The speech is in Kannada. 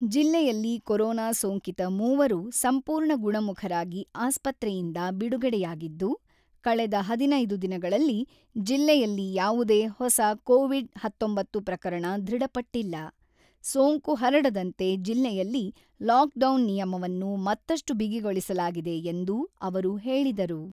ಜಿಲ್ಲೆಯಲ್ಲಿ ಕೊರೊನಾ ಸೋಂಕಿತ ಮೂವರು ಸಂಪೂರ್ಣ ಗುಣಮುಖರಾಗಿ ಆಸ್ಪತ್ರೆಯಿಂದ ಬಿಡುಗಡೆಯಾಗಿದ್ದು, ಕಳೆದ ಹದಿನೈದು ದಿನಗಳಲ್ಲಿ ಜಿಲ್ಲೆಯಲ್ಲಿ ಯಾವುದೇ ಹೊಸ ಕೋವಿಡ್-ಹತ್ತೊಂಬತ್ತು ಪ್ರಕರಣ ದೃಢಪಟ್ಟಿಲ್ಲ, ಸೋಂಕು ಹರಡದಂತೆ ಜಿಲ್ಲೆಯಲ್ಲಿ ಲಾಕ್‌ಡೌನ್ ನಿಯಮವನ್ನು ಮತ್ತಷ್ಟು ಬಿಗಿಗೊಳಿಸಲಾಗಿದೆ ಎಂದು ಅವರು ಹೇಳಿದರು.